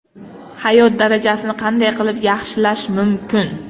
Hayot darajasini qanday qilib yaxshilash mumkin?